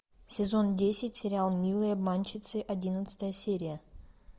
сезон десять сериал милые обманщицы одиннадцатая серия